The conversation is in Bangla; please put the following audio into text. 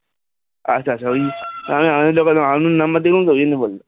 আচ্ছা আচ্ছা ওই আমি একটা unknown number দেখলাম সেজন্য বললাম